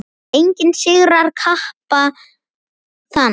Enginn sigrar kappa þann.